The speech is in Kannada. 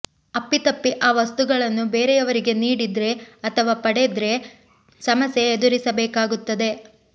ಅಪ್ಪಿತಪ್ಪಿ ಆ ವಸ್ತುಗಳನ್ನು ಬೇರೆಯವರಿಗೆ ನೀಡಿದ್ರೆ ಅಥವಾ ಪಡೆದ್ರೆ ಸಮಸ್ಯೆ ಎದುರಿಸಬೇಕಾಗುತ್ತದೆ